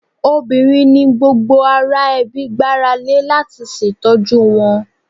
Obìnrin ni gbogbo ará ẹbí gbára lé láti ṣètọ́jú wọn.